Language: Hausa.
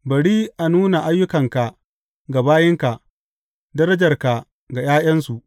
Bari a nuna ayyukanka ga bayinka, darajarka ga ’ya’yansu.